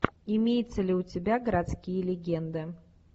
имеется ли у тебя городские легенды